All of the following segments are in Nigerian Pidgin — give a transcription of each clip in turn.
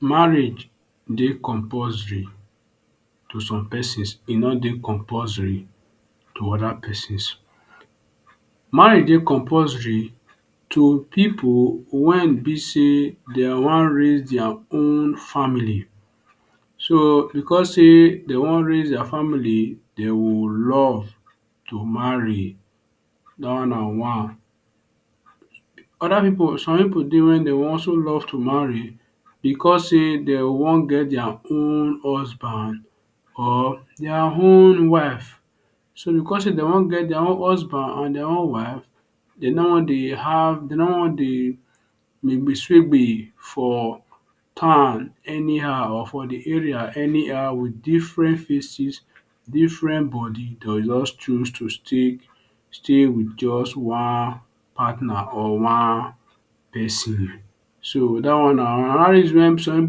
Marriage dey compulsory to some pesins, e no dey compulsory to other pesins. Marriage dey compulsory to pipu wen e be sey dey wan raise their own family. So because sey dey wan raise their family, dey will love to marry dat one na one. Other pipu some pipu dey wey dey also love to marry because sey dey wan get their own husband or their own wife. So because sey dey wan get their own husband or their own wife, dey now wan dey have, dey now wan dey for town anyhow, for the area anyhow wit different faces different body dey go just choose to stay stay wit just one partner or one pesin. So dat one na? Another reason wey some pipu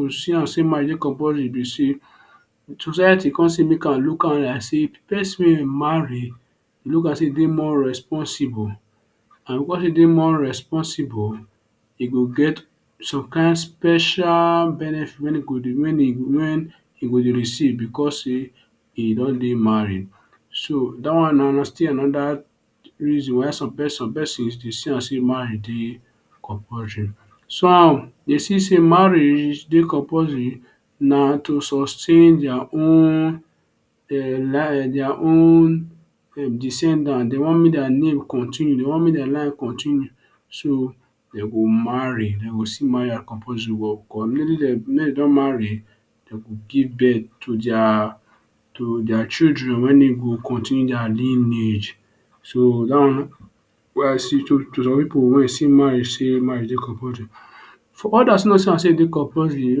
go see am sey marriage dey compulsory be sey society con make am look like say pesin wey e marry look am sey e dey more responsible and because sey e dey more responsible e go get some kain special benefit wey e go dey, wen e go dey receive because sey e don dey married. So dat one na still under reason why some why some person dey see am sey marriage dey compulsory. Some dey see sey marriage dey compulsory. Na to sustain their own um their own um descendant. Dey wan make their name continue, dey wan make their life continue so dey go marry. Dey go still marry compulsory wen dem don marry dem go give birth to their to their children wey e go continue their lineage. So dat one some people wey sey marriage dey compulsory. Others no see am sey e dey compulsory. dey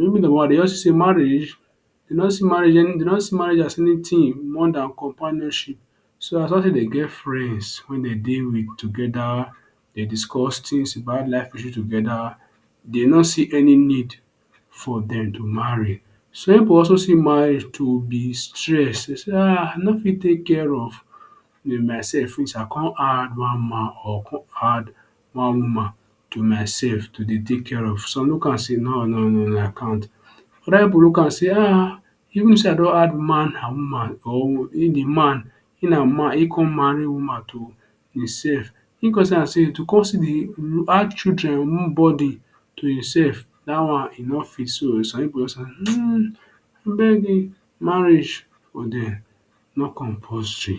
wan marriage, dey no see marriage as dey no see marriage as anything more than companionship. So as long sey dey get friends wey dey dey wit together, dey discuss things about life issue together dey no see any need for dem to marry. Some pipu also say marriage too be stress. Dey say, I no fit take care of myself finish, I come add one man or come add one woman to myself to dey take care of. Some look am say no no no I can't other pipu look am say, ah ah even if sey I don add man and woman or wey be man e come marry woman to hinsef e come see am say add children burden to himself dat one e no fit. So some pipu, um, abeg marriage no compulsory.